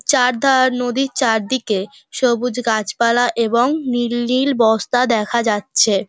চারধার নদীর চারদিকে সবুজ গাছপালা এবং নীল নীল বস্তা দেখা যাচ্ছে।